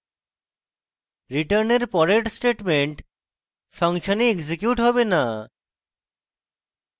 return এর পরের statements ফাংশনে এক্সিকিউট হবে note